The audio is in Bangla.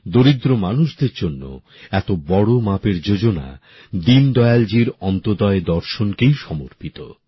দরিদ্র মানুষের জন্য এত বড় মাপের যোজনা দীনদয়ালজীর অন্তোদ্যয় দর্শনকেই সমর্পিত